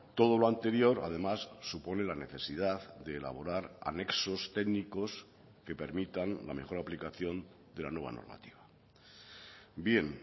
todo lo anterior además supone la necesidad de elaborar anexos técnicos que permitan la mejor aplicación de la nueva normativa bien